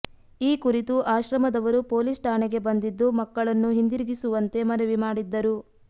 ಈ ಕುರಿತು ಆಶ್ರಮದವರು ಪೊಲೀಸ್ ಠಾಣೆಗೆ ಬಂದಿದ್ದು ಮಕ್ಕಳನ್ನು ಹಿಂದಿರುಗಿಸುವಂತೆ ಮನವಿ ಮಾಡಿದ್ದರು